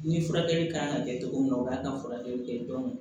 Ni furakɛli kan ka kɛ cogo min na u kan ka furakɛli kɛ